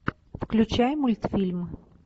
включай мультфильм